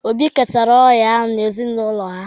Obi ketara ọrịa ahụ n’ezinụlọ ha